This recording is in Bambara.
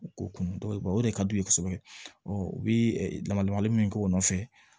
U ko kun dɔ de ka d'u ye kosɛbɛ u bi lamalomalen min k'o nɔfɛ